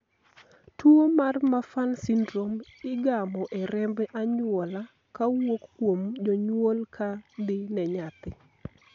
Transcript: tuo mar Marfan syndrome igamo e remb anyuola kowuok kuom jonyuol ka dhi ne nyathi